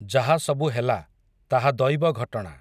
ଯାହା ସବୁ ହେଲା, ତାହା ଦଇବ ଘଟଣା ।